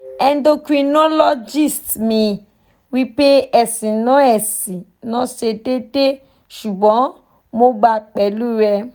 endocrinologist mi wipe esi na esi na se deede sugbon mo gba pelu re